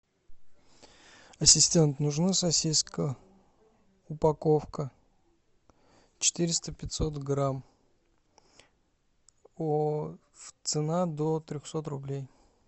ассистент нужна сосиска упаковка четыреста пятьсот грамм цена до трехсот рублей